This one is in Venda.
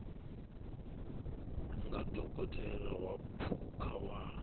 nga dokotela wa phukha wa